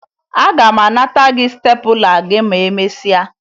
Aga m anata gị stepụla gị ma emesịa